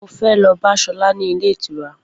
Mo fẹ́ lọ bá Sola ní ilé ìtura